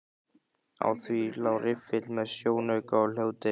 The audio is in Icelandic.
Á því lá riffill með sjónauka og hljóðdeyfi.